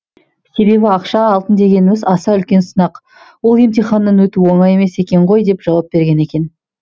себебі ақша алтын дегеніміз аса үлкен сынақ ол емтиханнан өту оңай емес екен ғой деп жауап берген екен